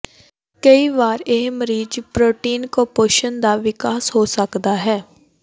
ਕਈ ਵਾਰ ਇਹ ਮਰੀਜ਼ ਪ੍ਰੋਟੀਨ ਕੁਪੋਸ਼ਣ ਦਾ ਵਿਕਾਸ ਹੋ ਸਕਦਾ ਹੈ